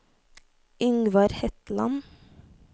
Yngvar Hetland